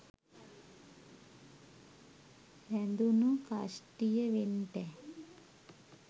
හැදුනු කස්ටිය වෙන්ටැ